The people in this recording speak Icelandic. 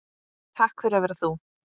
Takk fyrir að vera þú.